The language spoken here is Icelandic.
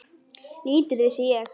Lítið vissi ég.